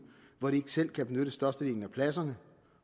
hvor de selv kan benytte størstedelen af pladserne